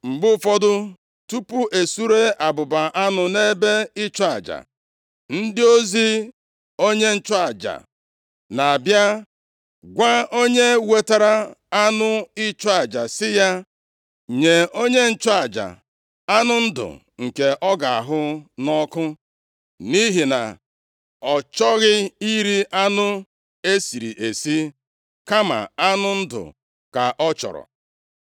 Mgbe ụfọdụ, tupu e suree abụba anụ nʼebe ịchụ aja, + 2:15 Nʼiwu e nyere banyere ịchụ aja, abụba na anụ niile abụba kpuchiri ka a na-akpọ ọkụ nʼelu ebe ịchụ aja. \+xt Lev 3:3-5,16; 4:8-10\+xt* ndị ozi onye nchụaja na-abịa gwa onye wetara anụ ịchụ aja sị ya, “Nye onye nchụaja anụ ndụ nke ọ ga-ahụ nʼọkụ, nʼihi na ọ chọghị iri anụ e siri esi, kama anụ ndụ ka ọ chọrọ.”